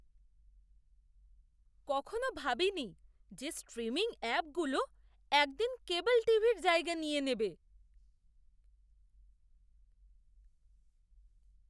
কখনও ভাবিনি যে স্ট্রিমিং অ্যাপগুলো একদিন কেবল টিভির জায়গা নিয়ে নেবে!